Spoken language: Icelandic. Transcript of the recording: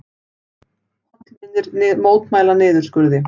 Hollvinir mótmæla niðurskurði